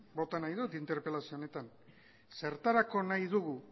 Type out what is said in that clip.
bota nahi dut interpelazio honetan zertarako nahi dugu